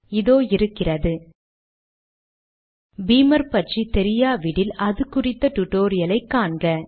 இதோ இருக்கிறது பீமர் பற்றி தெரியாவிடில் அதுகுறித்த டுடோரியல் ஐ காண்க